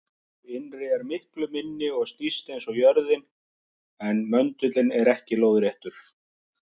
Sá innri er miklu minni og snýst eins og jörðin, en möndullinn er ekki lóðréttur.